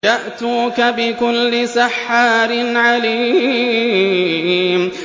يَأْتُوكَ بِكُلِّ سَحَّارٍ عَلِيمٍ